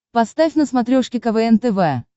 поставь на смотрешке квн тв